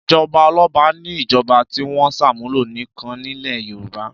Ìjọba ọlọ́ba ni ìjọba tí wọ́n ṣàmúlò nìkan nílẹ̀ Yorùbá.